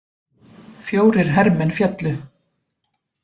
Fjórir hermenn féllu